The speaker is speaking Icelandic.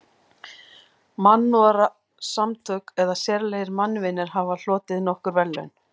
Mannúðarsamtök eða sérlegir mannvinir hafa hlotið nokkur verðlaun.